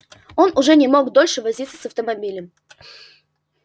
он уже не мог дольше возиться с автомобилем